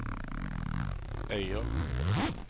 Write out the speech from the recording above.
Øyer